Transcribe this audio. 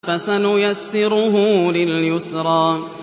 فَسَنُيَسِّرُهُ لِلْيُسْرَىٰ